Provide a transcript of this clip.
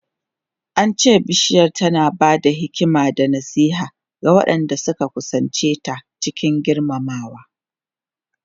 An ce Bishiyar tana ba da hikima da nasiha ga waɗanda suka kusance ta cikin girmamawa.